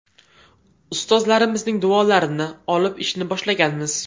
Ustozlarimizning duolarini olib ishni boshlaganmiz.